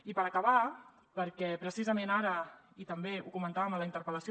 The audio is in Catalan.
i per acabar perquè precisament ara i també ho comentàvem a la interpel·lació